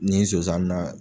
Ni ye zonzan na